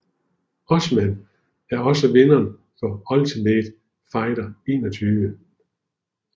Usman er også vinderen af Ultimate Fighter 21